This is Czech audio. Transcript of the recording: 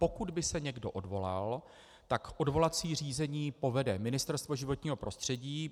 Pokud by se někdo odvolal, tak odvolací řízení povede Ministerstvo životního prostředí.